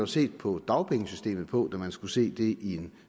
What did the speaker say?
set på dagpengesystemet på da man skulle se det i en